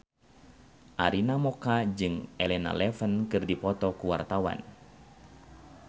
Arina Mocca jeung Elena Levon keur dipoto ku wartawan